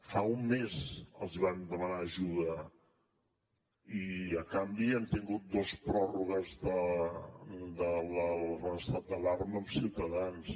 fa un mes els vam demanar ajuda i a canvi hem tingut dos pròrrogues de l’estat d’alarma amb ciutadans